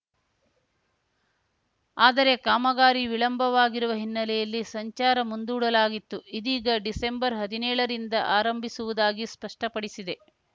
ಆದರೆ ಕಾಮಗಾರಿ ವಿಳಂಬವಾಗಿರುವ ಹಿನ್ನೆಲೆಯಲ್ಲಿ ಸಂಚಾರ ಮುಂದೂಡಲಾಗಿತ್ತು ಇದೀಗ ಡಿಸೆಂಬರ್ಹದಿನೇಳರಿಂದ ಆರಂಭಿಸುವುದಾಗಿ ಸ್ಪಷ್ಟಪಡಿಸಿದೆ